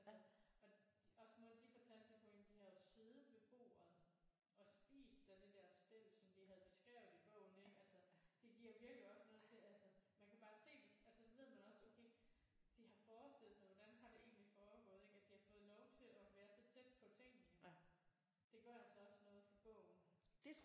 Altså og også måden de fortalte det på ik de har jo siddet ved bordet og spist af det der stel som de havde beskrevet i bogen ik altså det giver virkelig også noget til altså man kan bare se det altså så ved man også okay de har forestillet sig hvordan har det egentlig foregået ik at de har fået lov til at være så tæt på tingene det gør altså også noget til bogen